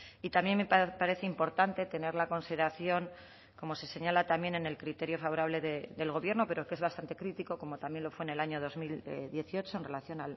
y también me parece importante tener la consideración como se señala también en el criterio favorable del gobierno pero que es bastante crítico como también lo fue en el año dos mil dieciocho en relación